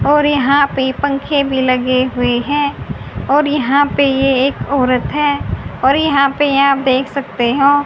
और यहां पे पंखे भी लगे हुए हैं और यहां पे ये एक औरत हैं और यहां पे यहां देख सकते हैं।